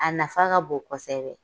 A nafa ka bon kosɛbɛ.